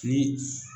Ni